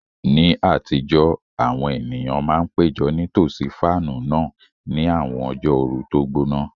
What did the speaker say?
Ní àtijọ́, àwọn ènìyàn máa ń péjọ nítòsí fáànù náà ní àwọn ọjọ́ ooru tó gbóná.